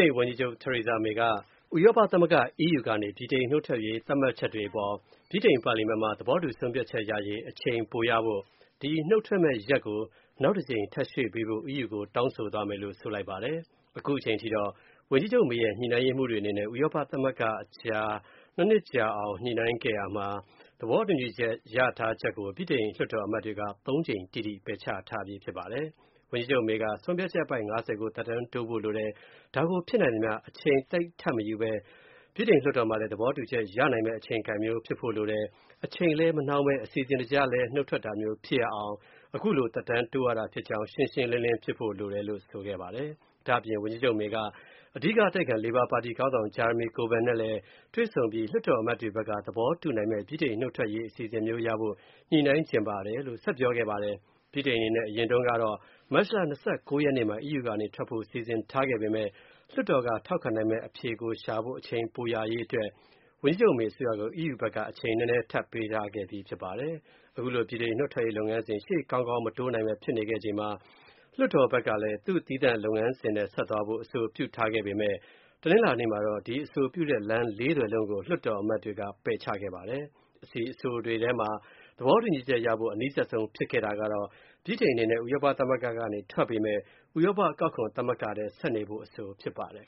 ိန် ဝန်ကြီးချုပ် Theresa May က ဥရောပသမဂ္ဂ EU ကနေ ဗြိတိန် နုတ်ထွက်ရေး သတ်မှတ်ချက်တွေအပေါ် ဗြိတန်ပါလီမန်မှာ သဘောတူဆုံးဖြတ်ချက်ရရေး အချိန်ပိုရဖို့၊ ဒီနုတ်ထွက်မယ့်ရက် နောက်တကြိမ် ထပ်ရွှေ့ပေးဖို့ EU ကို တောင်းဆိုသွားမယ်လို့ ဆိုလိုက်ပါတယ်။ အခုချိန်ထိကတော့ ဝန်ကြီးချုပ် May ရဲ့ ညှိနှိုင်းရေးမှူးတွေနဲ့ ဥရောပသမဂ္ဂအကြား (၂) နှစ်ကြာအောင် ညှိုနှိုင်းရယူထားရတဲ့ သဘောတူညီချက်ကို၊ ဗြိတိန်လွှတ်တော်အမတ်တွေက သုံးကြိမ်တိတိ ပယ်ချထားပြီး ဖြစ်ပါတယ်။ ဝန်ကြီးချုပ် May က ဆုံးဖြတ်ချက် အပိုဒ် (၅၀) ကို သက်တမ်းတိုးဖို့လိုတယ်။ ဒါကို ဖြစ်နိုင်သမျှ အချိန်သိပ်ထပ်မယူဘဲ၊ လွှတ်တော်မှာလည်း သဘောတူချက်ရနိုင်မယ့် အချိန်ကိုက်မျိုး ဖြစ်ဖို့လိုတယ်၊ အချိန်လည်း မနှောင်းဘဲ၊ အစီအစဉ်တကျ နုတ်ထွက်တာမျိုးဖြစ်ရအောင်၊ ခုလို သက်တမ်းတိုးရတာဖြစ်ကြောင်းလည်း ရှင်းရှင်းလင်းလင်းဖြစ်ဖို့ လိုပါတယ်လို့ ဆိုခဲ့ပါတယ်။ ဒါ့အပြင် ဝန်ကြီးချုပ် May က အဓိက အတိုက်အခံ လေဘာပါတီ ခေါင်းဆောင် Jeremy Corbyn နဲ့လည်း တွေ့ဆုံပြီး၊ လွှတ်တော်အမတ်တွေဖက်က သဘောတူနိုင်မဲ့ ဗြိတိန်နုတ်ထွက်ရေး အစီအစဉ်မျိုးရဖို့ ညှိနှိုင်းချင်ပါတယ်လို့ ဆက်ပြောခဲ့ပါတယ်။ ဗြိတိန်အနေနဲ့ အရင်တုံးကတော့ မတ်လ ၂၉ ရက်နေ့မှာ EU ကနေထွက်ဖို့ စီစဉ်ထားခဲ့ပေမယ့် လွှတ်တော်က ထောက်ခံနိုင်မယ့် အဖြေကိုရှာဖို့ အချိန်ပိုရရေးအတွက် ဝန်ကြီးချုပ် May အစိုးရကို EU ဖက်က အချိန်နည်းနည်း ထပ်ပေးထားခဲ့ပြီးဖြစ်ပါတယ်။ ခုလို ဗြိတိန်နုတ်ထွက်ရေး လုပ်ငန်းစဉ် ရှေ့ကောင်းကောင်းမတိုးနိုင်ဘဲ ဖြစ်နေချိန်မှာ လွှတ်တော်ဘက်ကလည်း သူ့သီးသန့်လမ်းစဉ်နဲ့ သူဆက်သွားဖို့ အဆိုပြုထားပေမဲ့၊ တနင်္လာနေ့မှာတော့ ဒီ လမ်း (၄) သွယ်လုံးကို လွှတ်တော်အမတ်တွေက ပယ်ချခဲ့ပါတယ်။ ဒီအဆိုတွေထဲ သဘောတူည်ီချက်ရဖို့ အနီးစပ်ဆုံး ဖြစ်ခဲ့တာကတော့ ဗြိတိန်အနေနဲ့ ဥရောပသမဂ္ဂကနေ ထွက်ပေမဲ့ ဥရောပ အကောက်ခွန်သမဂ္ဂထဲ ဆက်နေဖို့အဆိုဖြစ်ပါတယ်